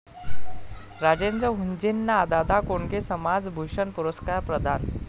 राजेंद्र हुंजेंना दादा कोंडके समाजभूषण पुरस्कार प्रदान